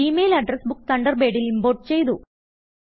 G mail address book തണ്ടർബേഡിൽ import ചെയ്തു